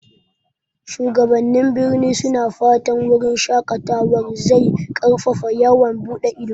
Shugabannin birni suna fatan wurin shaƙatawar zai ƙarfafa yawon buɗe ido.